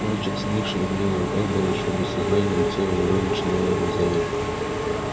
мальчик сникший у меня на руках был ещё без сознания но лицо его уже начинало розоветь